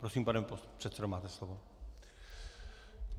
Prosím, pane předsedo, máte slovo.